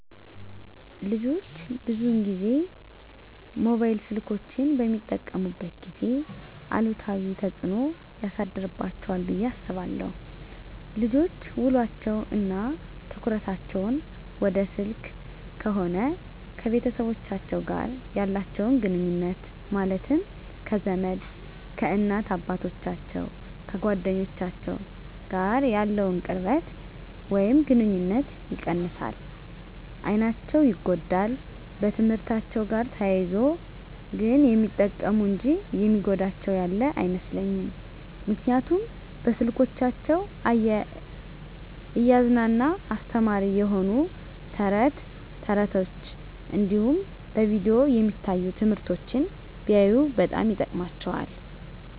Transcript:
ልጆች ብዙን ጊዜ ሞባይል ስልኮችን በሚጠቀሙበት ጊዜ አሉታዊ ተፅዕኖ ያሳድርባቸዋል ብየ አስባለሁ። ልጆች ውሎቸው እና ትኩረታቸውን ወደ ስልክ ከሆነ ከቤተሰቦቻቸው ጋር ያላቸውን ግኑኙነት ማለትም ከዘመድ፣ ከእናት አባቶቻቸው፣ ከጓደኞቻቸው ጋር ያለውን ቅርበት ወይም ግኑኝነት ይቀንሳል፣ አይናቸው ይጎዳል፣ በትምህርትአቸው ጋር ተያይዞ ግን የሚጠቅሙ እንጂ የሚጎዳቸው ያለ አይመስለኝም ምክንያቱም በስልኮቻቸው እያዝናና አስተማሪ የሆኑ ተረት ተረቶች እንዲሁም በቪዲዮ የሚታዩ ትምህርቶችን ቢያዩ በጣም ይጠቅማቸዋል።